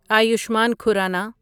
Ayushman Khurrana